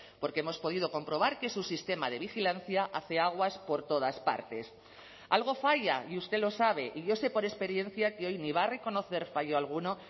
porque hemos podido comprobar que su sistema de vigilancia hace aguas por todas partes algo falla y usted lo sabe y yo sé por experiencia que hoy ni va a reconocer fallo alguno